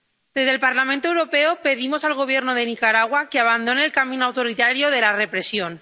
Desde el Parlamento Europeo, pedimos al Gobierno de Nicaragua que abandone el camino autoritario de la represión.